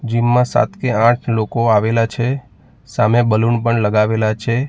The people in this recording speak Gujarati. જીમ માં સાત થી આઠ લોકો આવેલા છે સામે બલૂન પણ લગાવેલા છે.